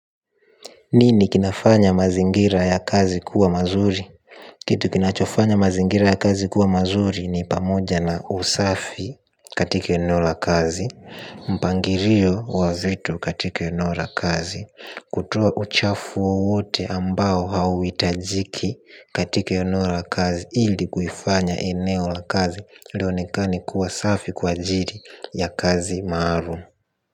Nini kinafanya mazingira ya kazi kuwa mazuri? Kitu kinachofanya mazingira ya kazi kuwa mazuri ni pamoja na usafi katika eneo la kazi. Mpangirio wa vitu katika eneo la kazi. Kutoa uchafu wowote ambao hauhitajiki katika eneora kazi ili kuifanya eneo la kazi lionekane kuwa safi kwa ajiri ya kazi maarum.